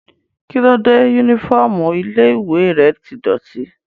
Kíló dé yúnífọ́ọ̀mù ilé-ìwé rẹ tí dọ̀ọ̀tí?